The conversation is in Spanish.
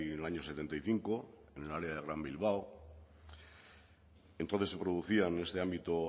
en el año setenta y cinco en el área del gran bilbao entonces se producía en este ámbito